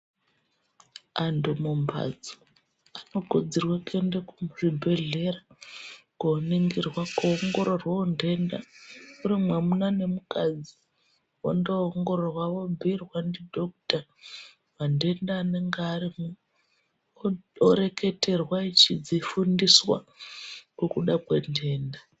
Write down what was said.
Antu mumhatso anokurudzirwe kuende kuzvibhedhlera koningirwa koongkrorwe ntenda uri mwamuna nemukadzi wondoongororwa vobhiirwa ndidhokuta mantenda anenga ari mu Oreketerwa echidzifundiswa ngekuda kwentenda.